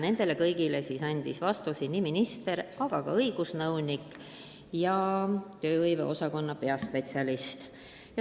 Komisjonis andsid vastuseid nii minister kui ka õigusnõunik ja tööhõive osakonna peaspetsialist.